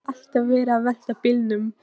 Þá var alltaf verið að velta bílum.